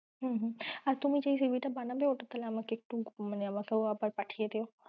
হম হম আর তুমি যেই CV টা বানাবে আমাকে একটু পাঠিয়ে দিও।